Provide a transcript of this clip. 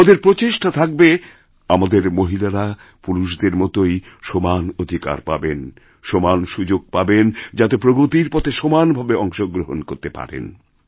আমাদের প্রচেষ্টা থাকবে আমাদের মহিলারাপুরুষদের মতই সমান অধিকার পাবেন সমান সুযোগ পাবেন যাতে প্রগতির পথে সমান ভাবেঅংশগ্রহণ করতে পারেন